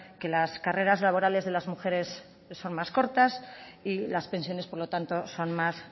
que las carreras laborales de las mujeres son más cortas y las pensiones por lo tanto son más